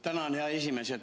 Tänan, hea esimees!